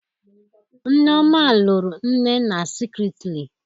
Nneoma lụrụ nnenna Secretly